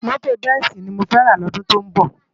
Mòtó bensi ni mó fè rs lòdún tó nbò